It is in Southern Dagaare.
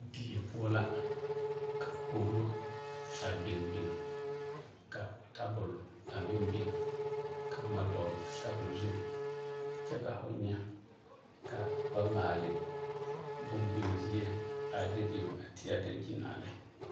Die poɔ la ka kogiro a biŋ biŋ ka tabol a meŋ biŋ ka boma a dɔgele tabol zu kyɛ ka ho nyɛ ka ba maale boŋ biŋ zie a de biŋ a teɛ a dankyini a lɛ.